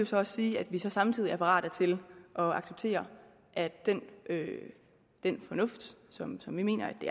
så også sige at vi samtidig er parate til at acceptere at den at den fornuft som som vi mener at det